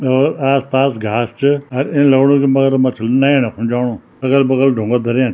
और आस-पास घास च अर इन लगणु की मगरमच्छ नयेना खुन जाणू अगल-बगल ढुंगा धर्या।